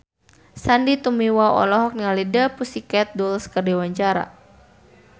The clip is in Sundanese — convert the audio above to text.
Sandy Tumiwa olohok ningali The Pussycat Dolls keur diwawancara